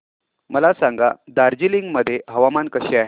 मला सांगा दार्जिलिंग मध्ये हवामान कसे आहे